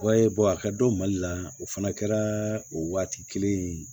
Wayi a ka dɔn mali la o fana kɛra o waati kelen in